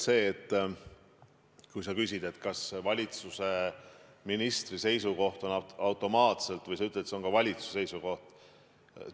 Sa ütlesid, et valitsuse ministri seisukoht on automaatselt ka valitsuse seisukoht.